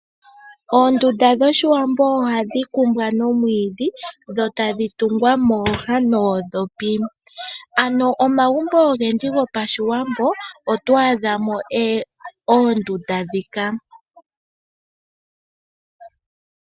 Oondunda dhoshiwambo ohadhi kumbwa nomwiidhi dho tadhi tungwa mooha noondhopi. Omagumbo ogendji gopashiwambo otwaadha mo oondunda ndhika.